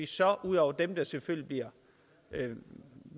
så ud over dem der selvfølgelig